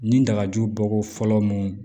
Ni dagaju bɔ ko fɔlɔ mun